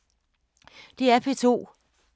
DR P2